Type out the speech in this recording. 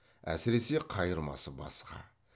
әсіресе қайырмасы басқа